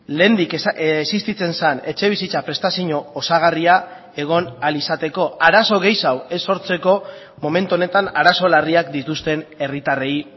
lehendik existitzen zen etxebizitza prestazio osagarria egon ahal izateko arazo gehiago ez sortzeko momentu honetan arazo larriak dituzten herritarrei